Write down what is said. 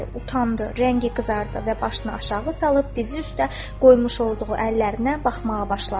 Rəngi qızardı və başını aşağı salıb dizi üstə qoymuş olduğu əllərinə baxmağa başladı.